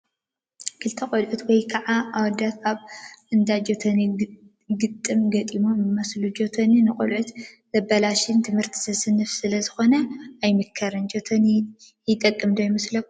ክልተ ቆልዑት ወይ ከዓ ኣወዳት ኣብ እንዳ ጆቶኒ ግጥም ገጢሞም ይመስሉ፡፡ ጆቶኒ ንቖልዑ ዘበላሹን ት/ቲ ዘስንፍን ስለዝኾነ ኣይምከርን፡፡ ጆቶኒ ይጠቅም ዶ ይመስለኩም?